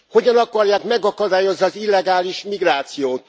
Hogyan akarják megakadályozni az illegális migrációt?